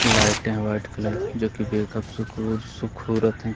लाइटें हैं white colour की जो की बे कब सुकुर सुखुरत हैं।